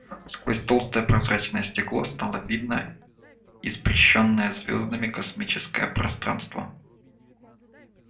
сквозь толстое прозрачное стекло стало видно испещрённое звёздами космическое пространство